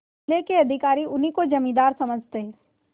जिले के अधिकारी उन्हीं को जमींदार समझते